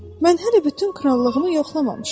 Mən hələ bütün krallığımı yoxlamamışam.